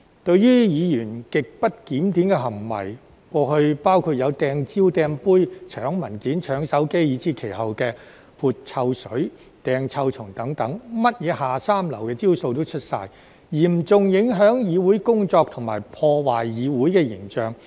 對於議員極不檢點的行為，過去包括"掟蕉"、"掟杯"、搶文件、搶手機，以至後期的潑臭水、"掟臭蟲"等，任何"下三流"的招數都出齊，嚴重影響議會工作及破壞議會形象。